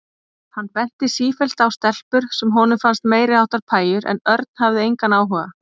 Hann benti sífellt á stelpur sem honum fannst meiriháttar pæjur en Örn hafði engan áhuga.